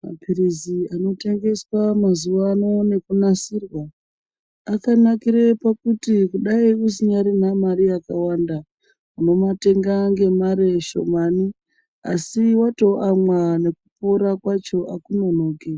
Mapirizi anotengeswa mazuwa ano nekunasirwa akanakira kuti dai usinyarina mari yakawanda unomatenga ngemare shamani asi watoamwa nekkupora kwacho hakunonoki.